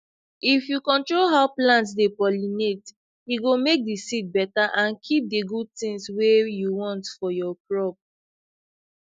if you control how plant dey pollinate e go make the seed better and keep the good things wey you want for your crop